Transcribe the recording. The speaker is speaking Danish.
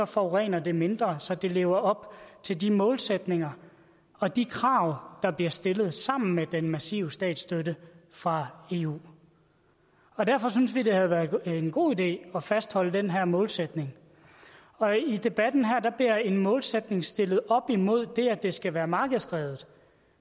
forurener det mindre så det lever op til de målsætninger og de krav der bliver stillet sammen med den massive statsstøtte fra eu derfor synes vi det havde været en god idé at fastholde den her målsætning i debatten her bliver en målsætning stillet op imod det at det skal være markedsdrevet